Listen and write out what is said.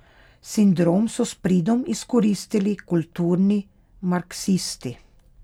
Sindrom so s pridom izkoristili kulturni marksisti.